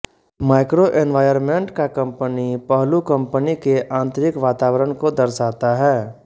microenvironment का company पहलू company के आंतरिक वातावरण को दर्शाता है